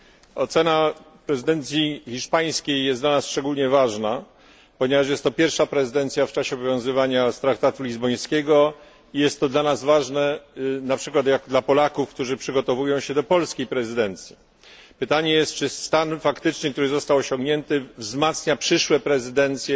Panie Przewodniczący! Panie Premierze! Ocena prezydencji hiszpańskiej jest dla nas szczególnie ważna, ponieważ jest to pierwsza prezydencja w czasie obowiązywania traktatu lizbońskiego i jest to dla nas ważne, na przykład dla Polaków, którzy przygotowują się do polskiej prezydencji. Pytanie brzmi, czy stan faktyczny, który został osiągnięty, wzmacnia przyszłe prezydencje,